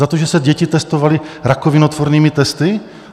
Za to, že se děti testovaly rakovinotvornými testy?